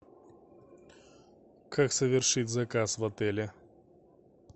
как совершить заказ в отеле